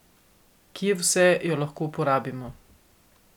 Kje vse jo lahko uporabimo?